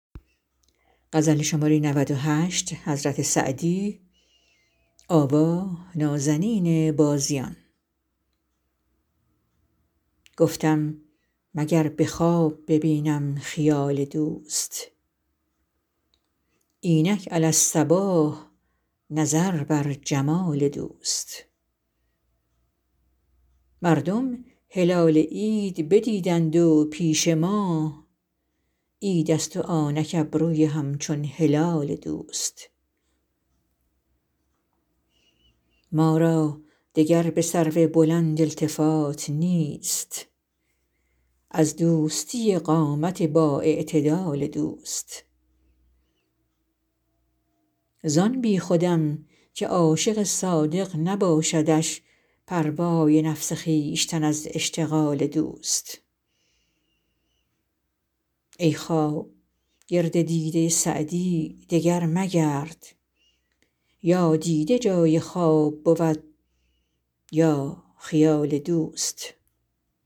گفتم مگر به خواب ببینم خیال دوست اینک علی الصباح نظر بر جمال دوست مردم هلال عید ندیدند و پیش ما عیدست و آنک ابروی همچون هلال دوست ما را دگر به سرو بلند التفات نیست از دوستی قامت بااعتدال دوست زان بیخودم که عاشق صادق نباشدش پروای نفس خویشتن از اشتغال دوست ای خواب گرد دیده سعدی دگر مگرد یا دیده جای خواب بود یا خیال دوست